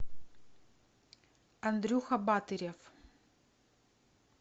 андрюха батырев